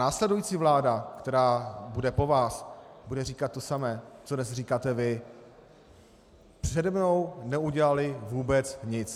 Následující vláda, která bude po vás, bude říkat to samé, co dnes říkáte vy: Přede mnou neudělali vůbec nic.